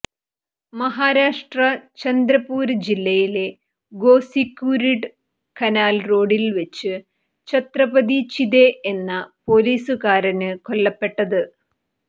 മഹാരാഷ്ട്ര ചന്ദ്രപൂര് ജില്ലയിലെ ഗോസിക്കൂര്ഡ് കനാല് റോഡില് വെച്ച് ചത്രപതി ചിദേ എന്ന പൊലീസുകാരന് കൊല്ലപ്പെട്ടത്